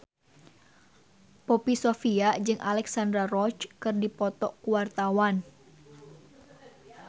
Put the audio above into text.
Poppy Sovia jeung Alexandra Roach keur dipoto ku wartawan